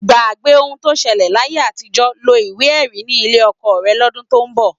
Gbàgbé ohun tó ṣẹlẹ̀ láyé àtijọ́, lo ìwé-ẹ̀rí ni ilé ọkọ rẹ lọ́dún tó ń bọ̀.